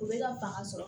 U bɛ ka fanga sɔrɔ